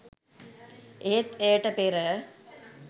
එහෙත් එයට පෙර